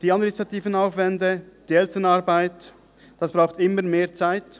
Die administrativen Aufwände und die Elternarbeit brauchen immer mehr Zeit.